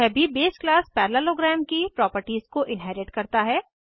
यह भी base class parallelogram की प्रॉपर्टीज़ को इन्हेरिट करता है